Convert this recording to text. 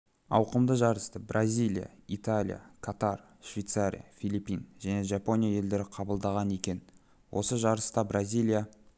ауқымды жарысты бразилия италия катар швейцария филиппин және жапония елдері қабылдаған екен осы жарыста бразилия